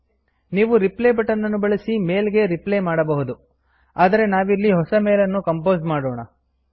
ನೀವು reply button ಅನ್ನು ಬಳಸಿ ಮೇಲ್ ಗೆ ರಿಪ್ಲೈ ಮಾಡಬಹುದು ಆದರೆ ನಾವಿಲ್ಲಿ ಹೊಸ ಮೇಲ್ ಅನ್ನು ಕಂಪೋಸ್ ಮಾಡೋಣ